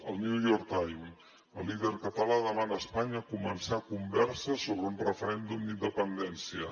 al new york time el líder català demana a espanya començar converses sobre un referèndum d’independència